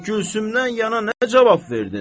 Bəs Gülsümdən yana nə cavab verdin?